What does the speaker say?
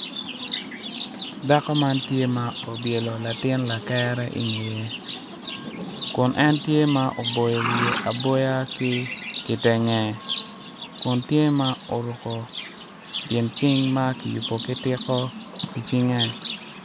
Dako man tye ma obyelo latin lakere ingeye kun en tye ma oboyo wiye aboya ki kitenge kun tye ma oruko gin cing ma kiyubo ki tiko icinge.